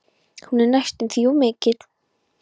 Hún er næstum því of mikil.